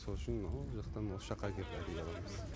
сол үшін анау жақтан осы жаққа келіп әдейі аламыз